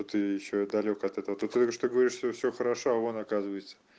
то ты ещё далёк от этого только говорю что говоришь что всё хорошо а он оказывается